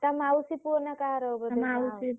ତା ମାଉସୀ ପୁଅ ନା କାହାର ଗୋଟେ।